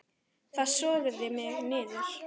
Það sogaði mig niður.